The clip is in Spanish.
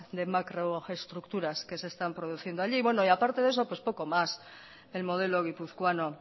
de macroestructuras que se están produciendo allí y bueno aparte de eso pues poco más del modelo guipuzcoano